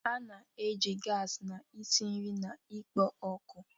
A na-eji gasi na-esi nri na ikpo ọkụ.